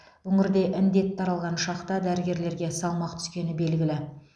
өңірде індет таралған шақта дәрігерлерге салмақ түскені белгілі